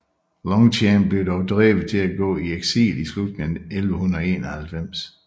Longchamp blev dog drevet til at gå i eksil i slutningen af 1191